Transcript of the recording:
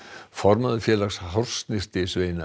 formaður félags